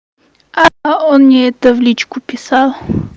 а он мне это в личку писал